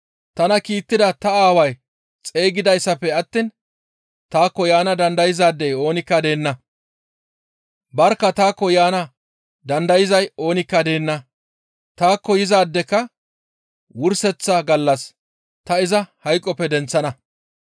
Tana kiittida ta Aaway xeygidaadefe attiin taakko yaana dandayzaadey oonikka deenna. Barkka taakko yaana dandayzay oonikka deenna; taakko yizaadeka wurseththa gallas ta iza hayqoppe denththana.